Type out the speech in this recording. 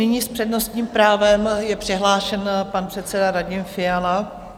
Nyní s přednostním právem je přihlášen pan předseda Radim Fiala.